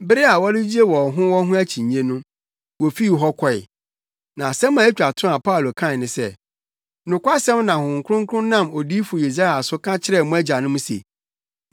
Bere a wɔregyigye wɔn ho wɔn ho akyinnye no, wofii hɔ kɔe. Na asɛm a etwa to a Paulo kae ne sɛ, “Nokwasɛm na Honhom Kronkron nam Odiyifo Yesaia so ka kyerɛɛ mo agyanom se,